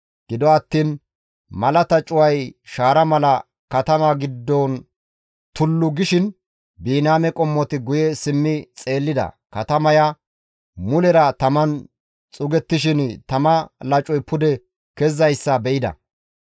Gido attiin malata cuway shaara mala katama giddon tullu gishin Biniyaame qommoti guye simmi xeellida; katamaya mulera taman xuugettishin tama lacoy pude kezizayssa be7ida.